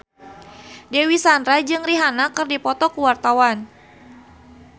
Dewi Sandra jeung Rihanna keur dipoto ku wartawan